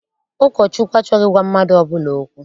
Ụkọchukwu achọghị ịgwa mmadụ ọbụla okwu.